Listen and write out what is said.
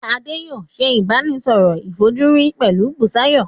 Adé yòó se ìbánisọ̀rọ̀ ìfojúrinjú pẹ̀lú Busayo.